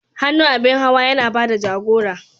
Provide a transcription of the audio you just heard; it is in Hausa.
Hannu abin hawa yana ba da jagora.